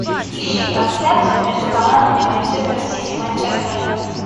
ищи трансляцию между командами манчестер сити манчестер